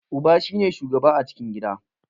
Uba shi ne shugaba a cikin gida.